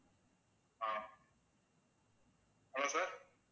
ah hello sir